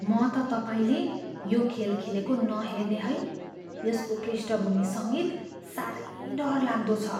म त तपाईँले यो खेल खेलेको नहेर्ने है। यसको पृष्ठभूमि सङ्गीत साह्रै डरलाग्दो छ!